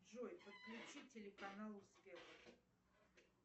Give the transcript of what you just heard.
джой подключи телеканал